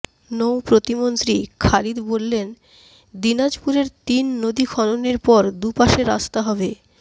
নৌ প্রতিমন্ত্রী খালিদ বললেন দিনাজপুরের তিন নদী খননের পর দুপাশে রাস্তা হবে